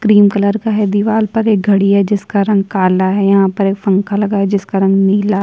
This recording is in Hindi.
क्रीम कलर का है दिवार पर एक घड़ी है जिसका रंग काला है यहाँ पर एक पंखा लगा हुआ है जिसका रंग नीला --